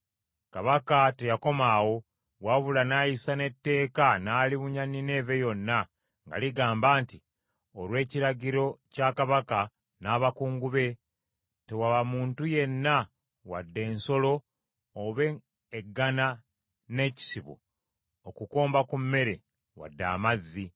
Kabaka teyakoma awo, wabula n’ayisa n’etteeka n’alibunya Nineeve yonna nga ligamba nti, Olw’ekiragiro kya kabaka n’abakungu be: “Tewaba muntu yenna, wadde ensolo oba eggana n’ekisibo, okukomba ku mmere wadde amazzi;